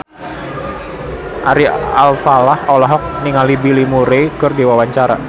Ari Alfalah olohok ningali Bill Murray keur diwawancara